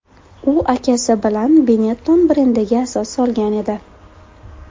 U akasi bilan Benetton brendiga asos solgan edi.